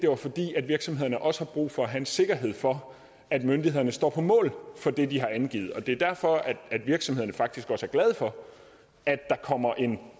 var fordi virksomheder også har brug for at have sikkerhed for at myndighederne står på mål for det de har angivet det er derfor at virksomhederne faktisk også er glade for at der kommer en